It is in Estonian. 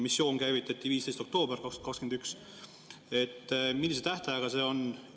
Missioon käivitati 15. oktoobril 2021. Millise tähtajaga see on?